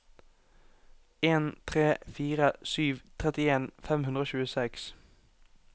en tre fire sju trettien fem hundre og tjueseks